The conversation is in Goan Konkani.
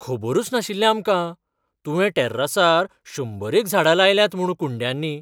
खबरूच नाशिल्लें आमकां, तुवें टॅर्रासार शंबरेक झाडां लायल्यांत म्हूण कुंड्यांनी.